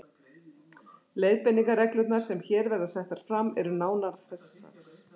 Leiðbeiningarreglurnar, sem hér verða settar fram, eru nánar þessar